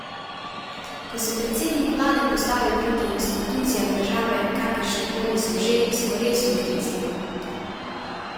Ko se predsednik vlade postavi proti institucijam države, kakršne koli so že, smo res v krizi!